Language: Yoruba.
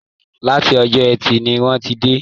Láti ọjọ́ ẹtì ni wọ́n ti dé